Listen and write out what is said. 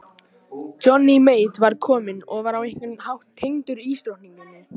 Johnny Mate var kominn og var á einhvern hátt tengdur ísdrottningunni.